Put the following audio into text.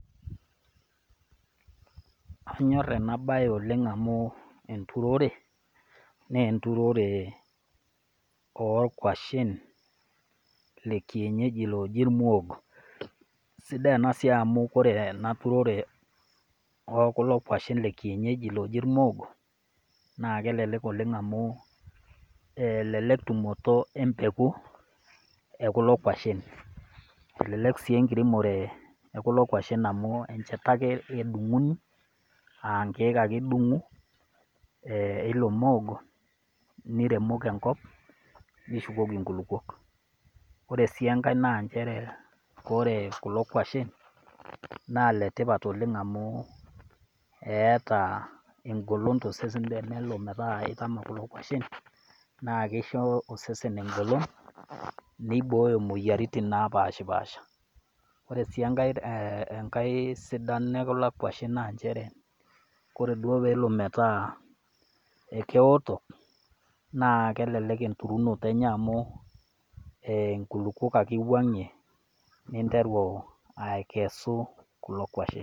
Anyor ena bae oleng' amu enturorre, naa enturore oo nkwashen, le kienyeji looji lmoogo, kore ena siai amu ore ena turorre oo nkwashen e kienyeji looji lmoogo, naa kelelek oleng' amu elelek tumoto empeku, e kulo kwashen, elelek sii enkiremore e kulo kwashen amu enchata ake idung'uni, aa nkeek ake idung'u e ilo moogo, niremoki enkop, nishukoki inkulukwok. Ore sii enkai naa kore kulo kwashen naa ike tipat oleng amu eata engolon tosesen amu tenelo niaku itama kulo kwashen, naa keisho osesen engolon, neibooyo imwoyiaritin napashipasha . Ore sii enkai sidano e kulo kwashen naa nchere, kore duo nelo metaa ekeoto, naa kelelek enturunoto enye amu inkulukwok ake iwang'ie ninteru akesu kulo kwashen.